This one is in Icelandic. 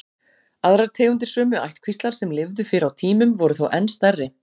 Aðrar tegundir sömu ættkvíslar sem lifðu fyrr á tímum voru þó enn stærri.